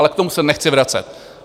Ale k tomu se nechci vracet.